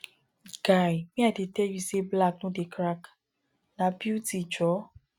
guy me i dey tell you say black no dey crack na beauty jhor